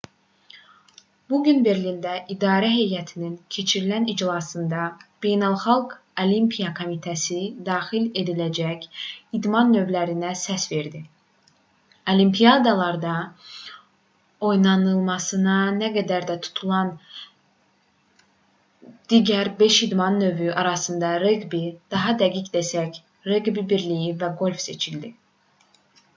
bu gün berlində idarə heyətinin keçirilən iclasında beynəlxalq olimpiya komitəsi daxil ediləcək idman növlərinə səs verdi olimpiadalarda oynanılması nəzərdə tutulan digər beş idman növü arasından reqbi daha dəqiq desək reqbi birliyi və qolf seçildi